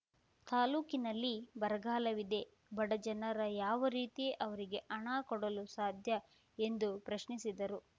ತಾಲೂಕಿನಲ್ಲಿ ಬರಗಾಲವಿದೆ ಬಡಜನರ ಯಾವ ರೀತಿ ಅವರಿಗೆ ಹಣ ಕೊಡಲು ಸಾಧ್ಯ ಎಂದು ಪ್ರಶ್ನಿಸಿದರು